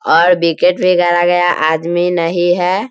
और विकेट मे गाड़ा गया आदमी नहीं है।